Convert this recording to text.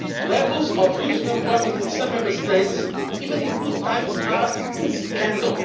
Levels of youth unemployment in some Member States, even in good times, are a scandal.